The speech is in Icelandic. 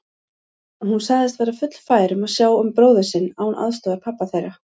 Og hún sagðist vera fullfær um að sjá um bróður sinn án aðstoðar pabba þeirra.